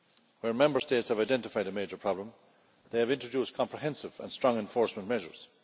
Where Member States have identified a major problem they have introduced comprehensive and strong enforcement measures.